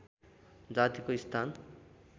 जातिको स्थान